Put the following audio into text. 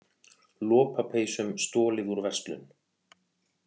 Lopapeysum stolið úr verslun